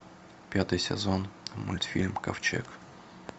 пятый сезон мультфильм ковчег